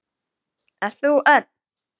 Ert þú Örn?